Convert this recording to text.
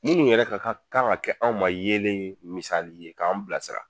Minnu yɛrɛ ka ka kan ŋa kɛ anw ma yeelen ye misali ye k'anw bilasira